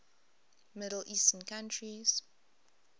middle eastern countries